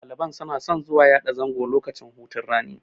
Ɗaliban suna son zuwa yada zango a lokacin hutun rani.